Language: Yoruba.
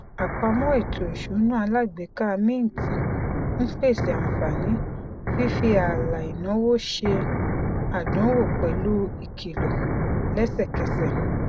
àpamọ ètò ìsúná alágbèéká mint ń pèsè àǹfààní fífi ààlà ináwó ṣe àdánwò pẹlú ìkìlọ lẹsẹkẹsẹ